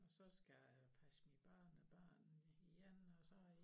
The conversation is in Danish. Og så skal jeg passe mine børnebørn igen og så i